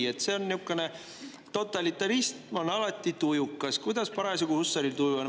Totalitarism on alati tujukas, kuidas Hussaril parasjagu tuju on.